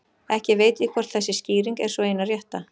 Ekki veit ég hvort þessi skýring er sú eina rétta.